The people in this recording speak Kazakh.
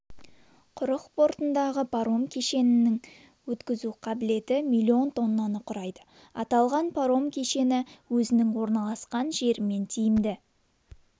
құрық портындағы паром кешенінің өткізу қабілеті миллион тоннаны құрайды аталған паром кешені өзінің орналасқан жерімен тиімді